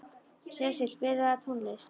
Sesil, spilaðu tónlist.